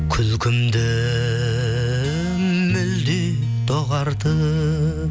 күлкімді мүлде доғартып